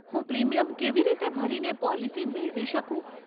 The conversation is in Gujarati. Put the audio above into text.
હું પ્રીમિયમ કેવી રીતે ભરીને પોલિસી મેળવી શકું?